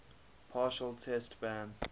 partial test ban